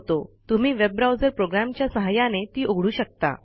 तुम्ही web browser प्रोग्रॅमच्या सहाय्याने ती उघडू शकता